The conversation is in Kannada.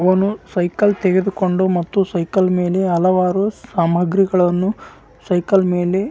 ಇಲ್ಲಿ ಒಂದು ರಸ್ತೆದಲ್ಲಿ ಒಬ್ಬರು ಸೈಕಲ್ ಅಲ್ಲಿ ಏನೋ ಸಾಮಾನ್ ಇಟ್ಟಕೊಂಡ್ ಹೋಕ್ಕ್ತಾಯಿದ್ದರೆ. ಮುಂದ್ಗಡೆ ಒಂದು ದೊಡ್ಡದು ನದಿ ಇದೆ.